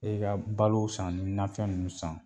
E ka balo san ne bɛ nanfɛn nunnu san.